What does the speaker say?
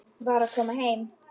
Var að koma heim.